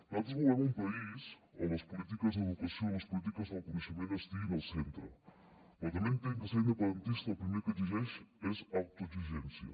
nosaltres volem un país on les polítiques d’educació i les polítiques del coneixement estiguin al centre però també entenc que ser independentista el primer que exigeix és autoexigència